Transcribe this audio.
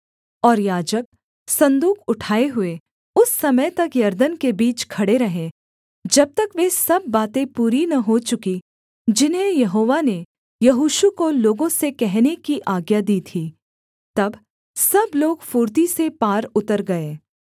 और याजक सन्दूक उठाए हुए उस समय तक यरदन के बीच खड़े रहे जब तक वे सब बातें पूरी न हो चुकीं जिन्हें यहोवा ने यहोशू को लोगों से कहने की आज्ञा दी थी तब सब लोग फुर्ती से पार उतर गए